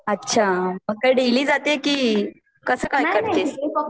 अच्छा मग काय डेलि जातीए का कस काय करतिएस?